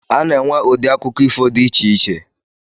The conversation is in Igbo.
A na-enwe ụdị akụkọ ifo di icheiche